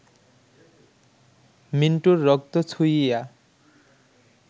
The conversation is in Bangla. মিন্টুর রক্ত ছুঁইয়া